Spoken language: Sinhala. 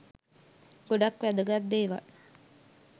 ගොඩක් වැදගත් දේවල්